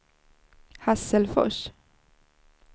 Hasselfors